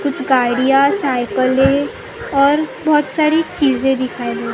कुछ गाड़ियाँ साइकिलें और बहुत सारी चीजे दिखाई।